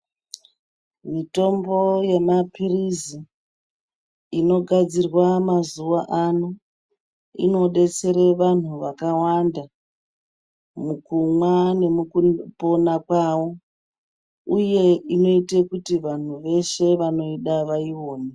Mitombo yemaphirizi inogadzirwa mazuwa ano inodetsere vantu vakawanda mukumwa nemukupona kwavo uye inoite kuti vantu veshe vanoida vaione.